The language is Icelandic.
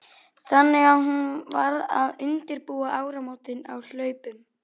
Þannig að hún varð að undirbúa áramótin á hlaupum.